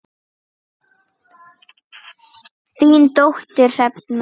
Þín dóttir Hrefna.